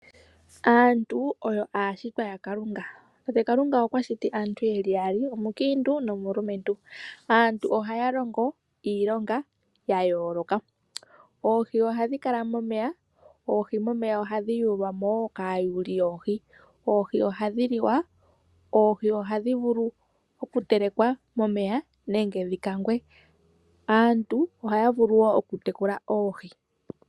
Aantu oyo aashitwa yakalunga. Tate Kalunga okwa shiti aantu yeli yaali, omukiintu nomulumentu. Aantu ohaya longo iilonga yayooloka. Oohi ohadhi kala momeya, oohi momeya ohadhi yuulwamo woo kaayuuli yoohi. Oohi ohadhi liwa, oohi ohadhi vulu oku telekwa momeya nenge dhi kangwe. Aantu ohaya vulu woo oku tekula oohi.